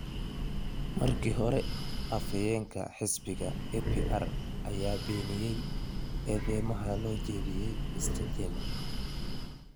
Markii hore, afhayeenka xisbigiisa APR ayaa beeniyay eedeymaha loo jeediyay Mr. Jammeh.